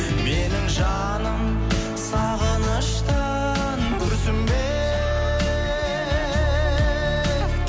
менің жаным сағыныштан күрсінбе